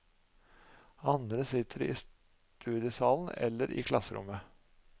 Andre sitter i studiesalen, eller i klasserommet.